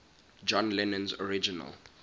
john lennon's original